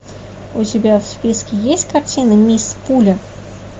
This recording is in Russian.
у тебя в списке есть картина мисс пуля